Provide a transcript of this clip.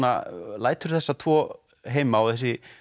lætur þessa tvo heima og þessi